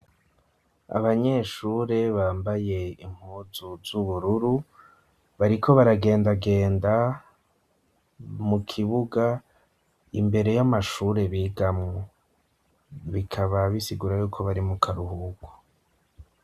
abanyeshure bambaye impuzu z'ubururu bariko baragendagenda mukibuga imbere y'amashure bigamwu bikaba bisigura yuko barimu karuhuku